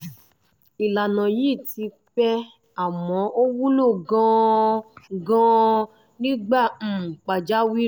ìlànà yìí ti pẹ́ àmọ́ ó wúlò gan-an gan-an nígbà um pàjáwìrì